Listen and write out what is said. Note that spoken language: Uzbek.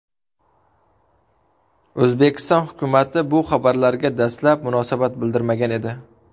O‘zbekiston hukumati bu xabarlarga dastlab munosabat bildirmagan edi.